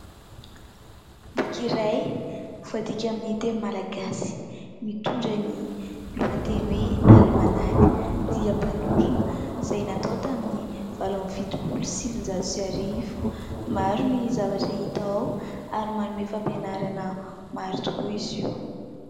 Boky iray voadiaka amin'ny teny Malagasy, mitondra ny lohateny hoe alimanaka dia mpanorona izay natao tamin'ny valo amby fitopolo sy sivin-jato sy arivo. Maro ny zavatra hita ao ary manome fampianarana maro tokoa izy io.